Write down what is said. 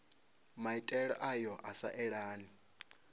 maitele ayo a sa elani